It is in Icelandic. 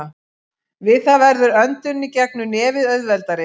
Við það verður öndun í gegnum nefið auðveldari.